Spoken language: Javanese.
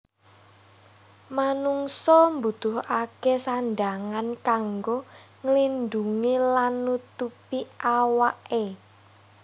Manungsa mbutuhaké sandhangan kanggo nglindhungi lan nutupi awaké